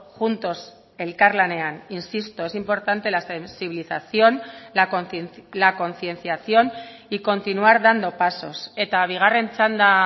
juntos elkarlanean insisto es importante la sensibilización la concienciación y continuar dando pasos eta bigarren txanda